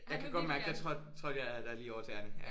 Jeg kan godt mærke der trådte trådte jeg dig lige over tæerne